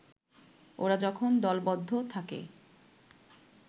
ওরা যখন দলবদ্ধ থাকে